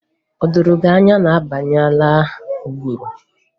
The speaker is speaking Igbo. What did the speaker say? Ọ dị gị ka anyị abanyeela ụgụrụ?